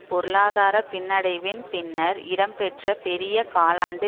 பொருளாதார பின்னடைவின் பின்னர் இடம்பெற்ற பெரிய காலாண்டு